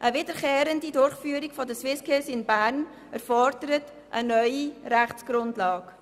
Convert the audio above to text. Eine wiederkehrende Austragung der SwissSkills in Bern erfordert eine neue Rechtsgrundlage.